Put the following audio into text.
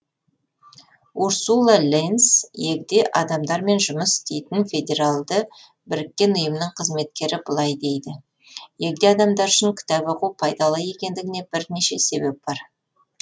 урсула ленз егде адамдармен жұмыс жасайтын федеральды біріккен ұйымның қызметкері былай дейді егде адамдар үшін кітап оқу пайдалы екендігіне бірнеше себеп бар